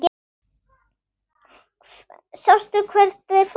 Sástu hvert þeir fóru?